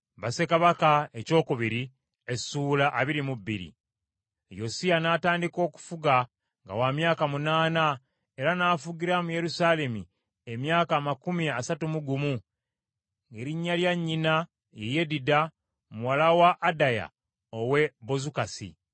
Yosiya n’atandika okufuga nga wa myaka munaana, era n’afugira mu Yerusaalemi emyaka amakumi asatu mu gumu, ng’erinnya lya nnyina ye Yedida, muwala wa Adaya ow’e Bozukasi.